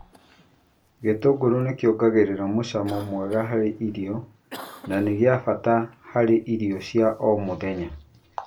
Gĩtũngũrũ nĩkĩongagĩrĩra mũcamo mwega harĩ irio na nĩ gĩa bata harĩ irio cia o mũthenya.